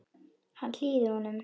Hann hlýðir honum.